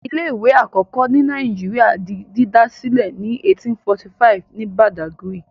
Ilé-ìwé àkọ́kọ́ ilẹ̀ Nàìjíríà di dídá sílẹ̀ ní 1845 ní Badagry.